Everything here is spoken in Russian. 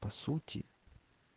по сути